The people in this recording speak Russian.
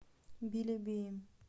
белебеем